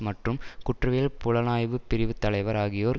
மற்றும் குற்றவியல் புலனாய்வுகள் பிரிவின் தலைவர் ஆகியோர்